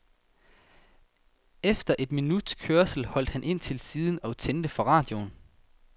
Efter et minuts kørsel holdt han ind til siden og tændte for radioen.